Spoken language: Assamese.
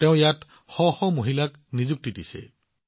তেওঁ ইয়াত শ শ মহিলাক নিযুক্তি দিছে